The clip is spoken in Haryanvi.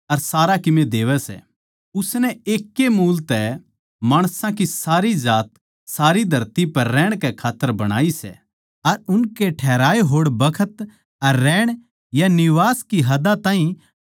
उसनै एक ए मूल तै माणसां की सारी जात सारी धरती पै रहण कै खात्तर बणाई सै अर उनकै ठहराए होड़ बखत अर रहण या निवास की हदां ताहीं ज्यांतै बाँधया सै